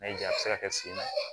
N'a y'i ja se ka sen na